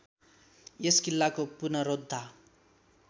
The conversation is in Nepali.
यस किल्लाको पुनरोद्धा